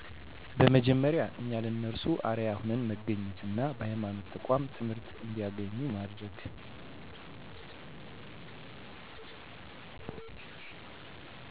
በመጀመሪያ እኛ ለነርሱ አርአያ ሁነን መገኘት እና በሐይማኖት ተቋም ትምህርት እንዲያገኙ ማድረግ